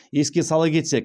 еске сала кетсек